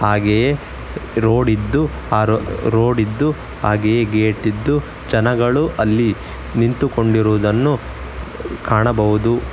ಹಾಗೆಯೇ ರೋಡ್ ಇದ್ದು ಆ ರೋ ರೋಡ್ ಇದ್ದು ಹಾಗೆಯೇ ಗೇಟ್ ಇದ್ದು ಜನಗಳು ಅಲ್ಲಿ ನಿಂತುಕೊಂಡಿರುವುದನ್ನು ಕಾಣಬಹುದು.